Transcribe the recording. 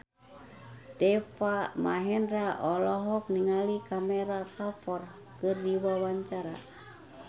Deva Mahendra olohok ningali Kareena Kapoor keur diwawancara